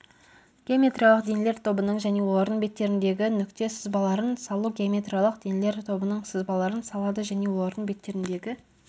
геометриялық денелер тобының және олардың беттеріндегі нүкте сызбаларын салу геометриялық денелер тобының сызбаларын салады және олардың беттеріндегі